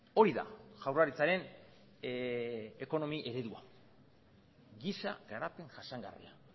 hori da jaurlaritzaren ekonomi eredua giza garapen jasangarria